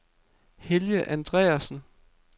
Helge Andreassen